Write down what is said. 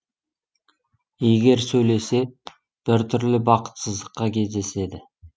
егер сөйлесе бір түрлі бақытсыздыққа кездеседі